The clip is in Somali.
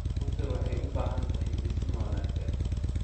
Rugta waxay u baahan tahay dhisme wanaagsan.